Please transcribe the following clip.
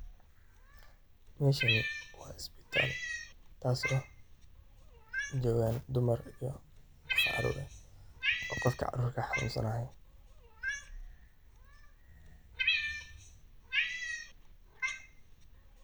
Meeshani waa ispital taaso loo kudathalo dumark kafacda leeh iyo qoofka carur kaxanunsan.